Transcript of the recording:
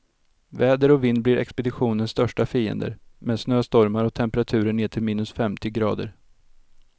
Väder och vind blir expeditionens största fiender, med snöstormar och temperaturer ner till minus femtio grader.